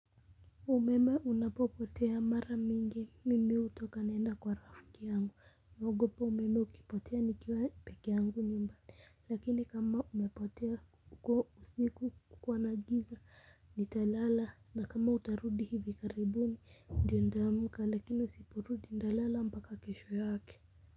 Umeme unapopotea mara mingi mimi hutoka naenda kwa rafiki yangu. Naogopa umeme ukipotea ni kiwa pekee yangu nyumbani. Lakini kama umepotea kukiwa usiku kukiwa na giza ni talala. Na kama utarudi hivi karibuni ndio nitamka lakini usiporudi nitalala mpaka kesho yake.